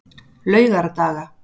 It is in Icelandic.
laugardaga